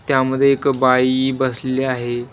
त्यामध्ये एक बाई बसलेली आहे.